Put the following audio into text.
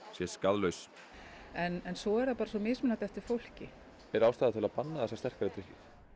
sé skaðlaus en svo er það bara svo mismunandi eftir fólki er ástæða til að banna þessa sterkari drykki